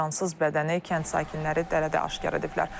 Onun cansız bədənini kənd sakinləri dərədə aşkar ediblər.